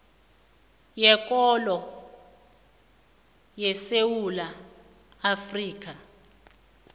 weenkolo esewula afrika